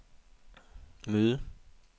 møde